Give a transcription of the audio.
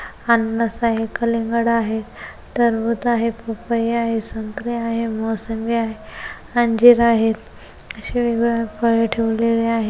अननस आहे कलिंगड़ आहे टरबूज आहे पपई आहे संतरे आहे मोसंबी आहे अंजीर आहे अशे वेग वेगळे फळे ठेवलेले आहे.